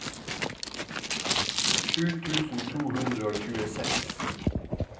sju tusen to hundre og tjueseks